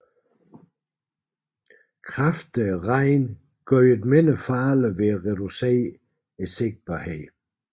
Kraftig regn gjorde det mindre farligt ved at reducere sigtbarheden